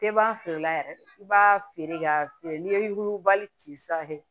Tɛ ban feere la yɛrɛ i b'a feere k'a feere n'i ye yugubali ci sanfɛ